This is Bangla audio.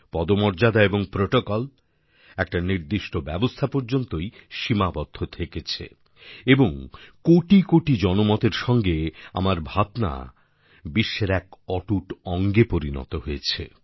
পদমর্যাদা এবং প্রোটোকল একটা নির্দিষ্ট ব্যবস্থা পর্যন্তই সীমাবদ্ধ থেকেছে এবং কোটি কোটি জনমতের সঙ্গে আমার ভাবনা বিশ্বের এক অটুট অঙ্গে পরিণত হয়েছে